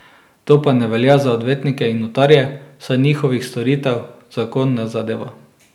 To pa ne velja za odvetnike in notarje, saj njihovih storitev zakon ne zadeva.